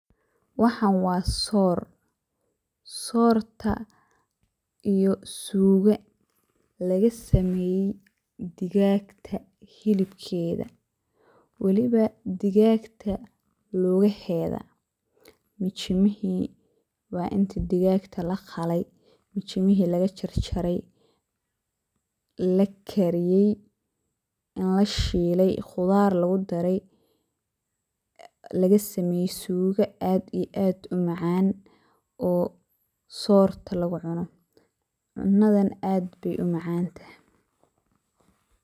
Waxan wa soor, soorta iyo sugada lagasameye digaag hilibkeda waliba digaagta lugaheda, intii digaagta lakalajaray mijimaheda lagabixiye lakariyey lashiley lagasameye sugada aad umacan oo soorta lugucuno. Cunadan aad ayey umacantahay.